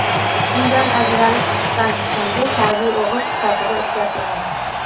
Undan ajralib chiqqan chiqindi tabiiy o‘g‘it sifatida ishlatiladi.